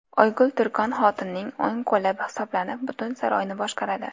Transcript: Oygul Turkon xotunning o‘ng qo‘li hisoblanib, butun saroyni boshqaradi.